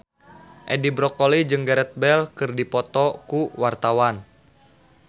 Edi Brokoli jeung Gareth Bale keur dipoto ku wartawan